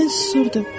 Mən susurdum.